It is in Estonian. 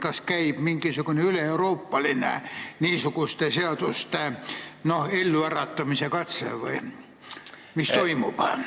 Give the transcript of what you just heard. Kas käib mingisugune üleeuroopaline niisuguste seaduste elluäratamise katse või mis toimub?